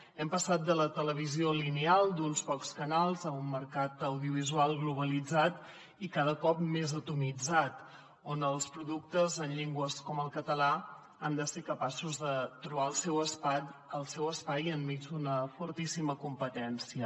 hem passat de la televisió lineal d’uns pocs canals a un mercat audiovisual globalitzat i cada cop més atomitzat on els productes en llengües com el català han de ser capaços de trobar el seu espai enmig d’una fortíssima competència